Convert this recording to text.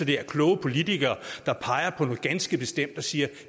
det er kloge politikere der peger på noget ganske bestemt og siger at